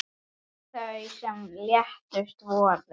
Þau sem létust voru